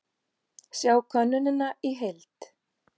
Sjá könnunina í heild